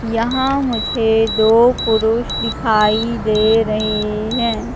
यहां मुझे दो पुरुष दिखाई दे रहे है।